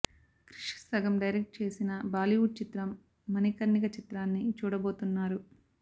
క్రిష్ సగం డైరెక్ట్ చేసిన బాలీవుడ్ చిత్రం మణికర్ణిక చిత్రాన్ని చూడబోతున్నారు